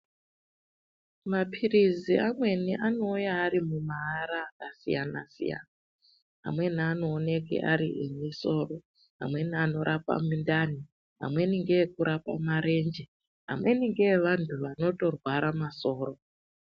Mapirizi amweni anouya mumaara akasiyana siyana amweni anoonekwe ari emusoro amweni anorape mundani amweni ngeekurapa marenje amweni ngeevantu vanotorwara musoro.